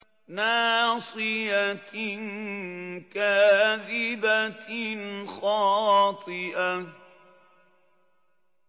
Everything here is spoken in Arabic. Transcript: نَاصِيَةٍ كَاذِبَةٍ خَاطِئَةٍ